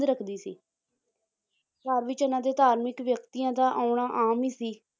ਰੱਖਦੀ ਸੀ ਘਰ ਵਿੱਚ ਇਹਨਾਂ ਦੇ ਧਾਰਮਿਕ ਵਿਅਕਤੀਆਂ ਦਾ ਆਉਣਾ ਆਮ ਹੀ ਸੀ